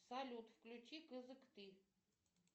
салют включи кызыкты